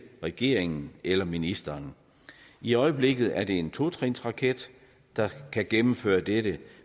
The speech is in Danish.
regeringen eller ministeren i øjeblikket er det en totrinsraket der kan gennemføre dette